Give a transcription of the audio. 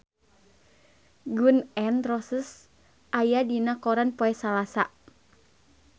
Gun N Roses aya dina koran poe Salasa